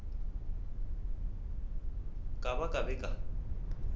ba ka ba be ba